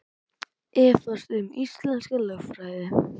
Efast um íslenska lögfræði